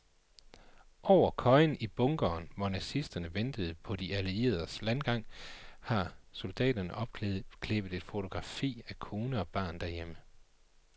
Over køjen i bunkeren, hvor nazisterne ventede på de allieredes landgang, har soldaten opklæbet et fotografi af kone og barn derhjemme.